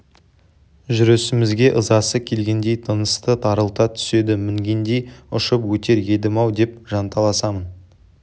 жүрісімізге ызасы келгендей тынысты тарылта түседі мінгендей ұшып өтер едім-ау деп жанталасамын